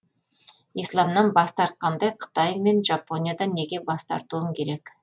исламнан бас тартқандай қытай мен жапониядан неге бас тартуым керек